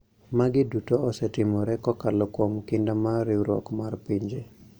"Magi duto osetimore kokalo kuom kinda mar Riwruok mar Pinje